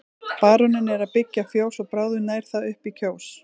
Baróninn er að byggja fjós og bráðum nær það upp í Kjós.